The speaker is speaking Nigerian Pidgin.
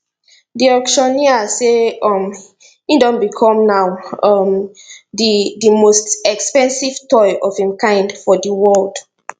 di auctioneer say um e don become now um di di most expensive toy of im kind for di world